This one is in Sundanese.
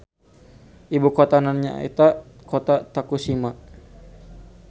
Ibukotana nyaeta Kota Tokushima.